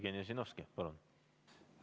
Jevgeni Ossinovski, palun!